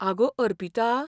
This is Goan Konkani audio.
आगो, अर्पिता.